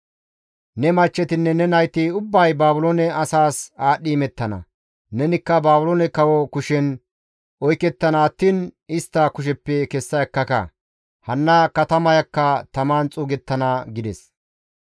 «Ne machchetinne ne nayti ubbay Baabiloone asaas aadhdhi imettana; nenikka Baabiloone kawo kushen oykettana attiin istta kusheppe kessa ekkaka; hanna katamayakka taman xuugettana» gides.